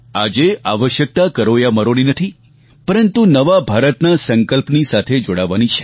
આજે આવશ્યકતા કરો યા મરોની નથી પરંતુ નવા ભારતના સંકલ્પની સાથે જોડાવાની છે